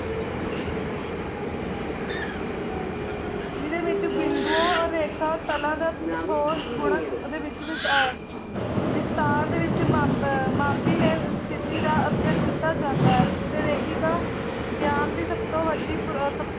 ਜਿਦੇ ਵਿੱਚ ਬਿੰਦੋਉ ਰੇਖਾ ਤਲਾ ਦਾ ਠੋਸ ਗੁਣਕ ਉਹਦੇ ਵਿੱਚ ਵੀ ਵਿਸਥਾਰ ਦੇ ਵਿੱਚ ਮਾਪੀ ਸਥੀਤੀ ਦਾ ਅਧਿਐਨ ਕੀਤਾ ਜਾਦਾ ਹੈ ਤੇ ਰੇਖਿਕਾ ਗਿਆਨ ਦੀ ਸੱਭ ਤੋਂ ਵੱਡੀ